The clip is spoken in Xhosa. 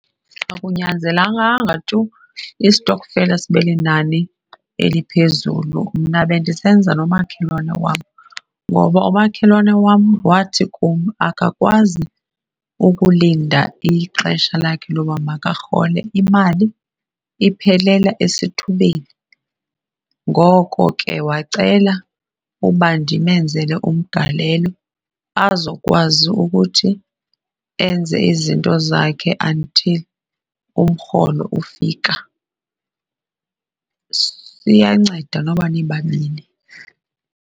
Akunyanzelanganga tu istokfela sibe linani eliphezulu. Mna bendisenza nomakhelwane wam ngoba umakhelwane wam wathi kum akakwazi ukulinda ixesha lakhe loba makarhole, imali iphelela esithubeni. Ngoko ke, wacela uba ndimenzele umgalelo azokwazi ukuthi enze izinto zakhe until umrholo ufika. Siyanceda noba nibabini.